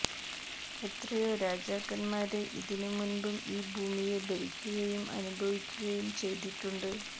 എത്രയോ രാജാക്കന്മാര് ഇതിനു മുമ്പും ഈ ഭൂമിയെ ഭരിക്കുകയും അനുഭവിക്കുകയും ചെയ്തിട്ടുണ്ട്